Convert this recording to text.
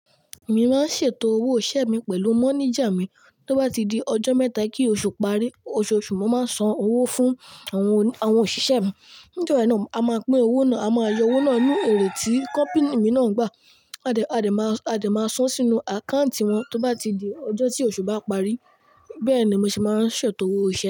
Èmi máa ń ṣètò owó iṣẹ mi pẹ̀lú mọ́níjà mi. Tó bá ti di ọjọ́ mẹ́ta kí oṣù parí, oṣooṣù mo máa san owó fún àwọn òṣìṣẹ́ mi. Ní jo náà a máa pín owó náà, a máa yọ owó náà ní èrè tí kọ́pini mi náà ń gbà. A dẹ̀, a dẹ̀ máa, a dẹ̀ máa san sínú àkáǹtì wọn tó bá ti di ọjọ́ tí oṣù bá parí. Bẹ́ẹ̀ ni màá ṣe máa ń ṣètò owó iṣẹ.